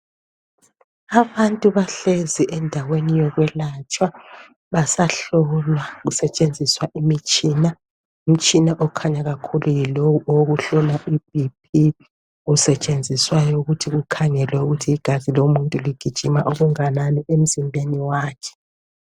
Abantu bahlezi endaweni yokwelatshwa. Basahlolwa., kusetshenziswa imitshina. Umtshina okhanya kakhulu, yilowu owokuhlola iBP. Osetshenziswayo, ukuthi kukhangelwe ukuthi igazi lomuntu ligijima okungakanani emzimbeni wakhe.